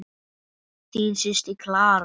Þín systir, Clara.